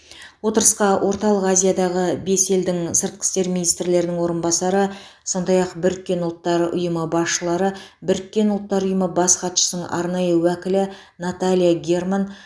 отырысқа орталық азиядағы бес елдің сыртқы істер министрлерінің орынбасары сондай ақ біріккен ұлттар ұйымы басшылары біріккен ұлттар ұйымы бас хатшысының арнайы уәкілі наталья герман